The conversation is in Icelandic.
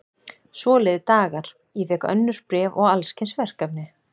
Svo liðu dagar, ég fékk önnur bréf og alls kyns verkefni.